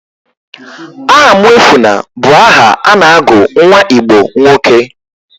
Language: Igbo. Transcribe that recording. Ahamuefuna bụ aha a na-agụ nwa Igbo nwoke.